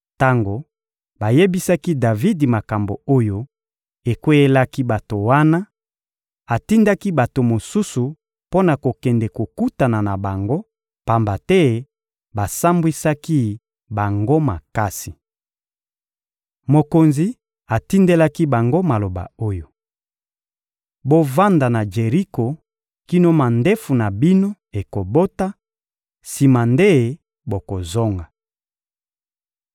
Tango bayebisaki Davidi makambo oyo ekweyelaki bato wana, atindaki bato mosusu mpo na kokende kokutana na bango, pamba te basambwisaki bango makasi. Mokonzi atindelaki bango maloba oyo: «Bovanda na Jeriko kino mandefu na bino ekobota, sima nde bokozonga.»